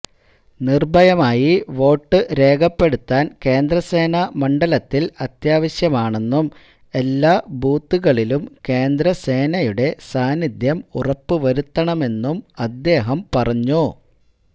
നിര്ഭയമായി vote രേഖപ്പെടുത്താന് കേന്ദ്രസേന മണ്ഡലത്തില് അത്യാവശ്യമാണെന്നും എല്ലാ ബൂത്തുകളിലും കേന്ദ്രസേനയുടെ സാന്നിധ്യം ഉറപ്പുവരുത്തണമെന്നും അദ്ദേഹം പറഞ്ഞു